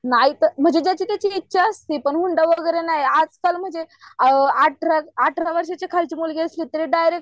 नाही तर म्हणजे ज्याची त्याची इच्छा असती पण हुंडा वगैर नाही आजकाल म्हणजे अ अठरा वर्षांची खालची मुलगी असली की डायरेक्ट